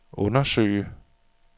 undersøge